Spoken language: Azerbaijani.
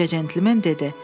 Qoca centlmen dedi: